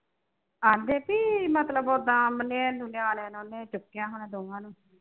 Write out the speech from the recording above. ਆਂ ਦੇ ਬਈ ਮਤਲਬ ਉਦਾਂ ਨਿਆਣਿਆਂ ਨੂੰ ਨੀ ਚੁੱਕਿਆ ਹੋਣਾ ਦੋਹਾਂ ਨੂੰ